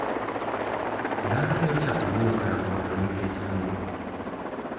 Dhano ne ochako wuoyo karang`o to nikech ang`o?